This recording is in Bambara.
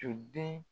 So den